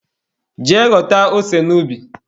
Jee ghọta ose n'ubi.